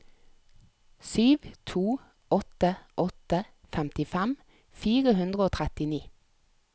sju to åtte åtte femtifem fire hundre og trettini